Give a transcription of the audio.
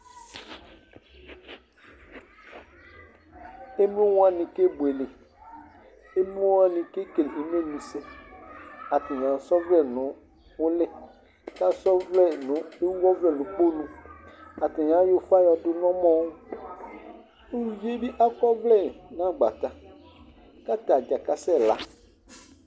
Emlo wani kebuele Emlo wani kekele umlenyi sɛ Atani asa ɔvlɛ nʋ uli, kʋ ewu ɔvlɛ nʋ ikponu Atani ayɔ ufa yɔdʋ nʋ ɔmɔwʋ Uluvi bɩ asa ɔvlɛ nʋ agbata, kʋ atadza kasɛla